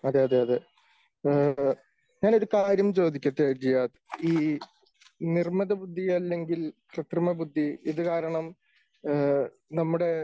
അതേ അതേ അതേ. ഞാൻ ഒരു കാര്യം ചോദിക്കട്ടെ ജിയാദ്. ഈ നിർമ്മിത ബുദ്ധി അല്ലെങ്കിൽ കൃത്രിമബുദ്ധി ഇത് കാരണം നമ്മുടെ